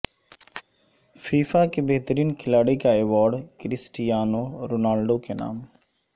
FIFA کے بہترین کھلاڑی کا ایوارڈ کرسٹیانو رونالڈو کے نام